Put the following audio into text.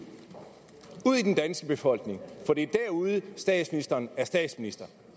til befolkning for det er derude at statsministeren er statsminister